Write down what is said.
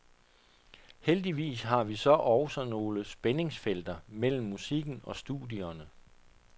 Heldigvis har vi så også nogle spændingsfelter mellem musikken og studierne.